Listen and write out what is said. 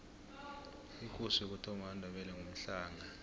ikosi yokuthoma yamandebele ngumhlanga